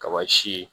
Kaba si ye